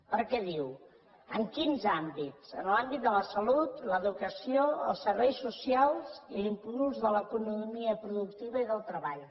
perquè diu en quins àmbits en l’àmbit de la salut l’educació els serveis socials l’impuls de l’economia productiva i del treball